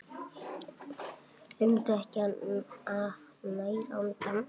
Gleymdu ekki að næra andann!